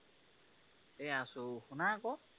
এৰ আছো, শুনা আঁক